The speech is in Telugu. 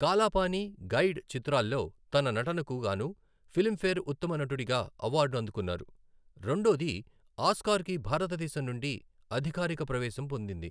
కాలా పానీ ', 'గైడ్' చిత్రాల్లో తన నటనకు గాను ఫిలింఫేర్ ఉత్తమ నటుడిగా అవార్డు అందుకున్నారు, రెండోది ఆస్కార్కి భారతదేశం నుండి అధికారిక ప్రవేశం పొందింది.